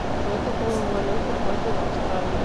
джой какую валюту используют в австралии